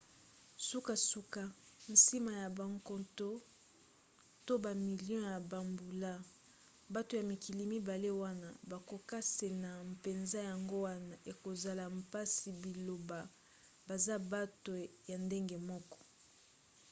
sukasuka nsima ya bankoto to bamilio ya bambula bato ya mikili mibale wana bakokesena mpenza yango wana ekozala mpasi baloba baza bato ya ndenge moko